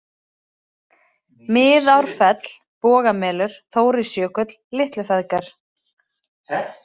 Miðárfell, Bogamelur, Þórisjökull, Litlufeðgar